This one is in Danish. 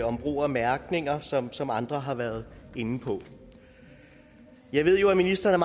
om brug af mærkninger som som andre har været inde på jeg ved jo at ministeren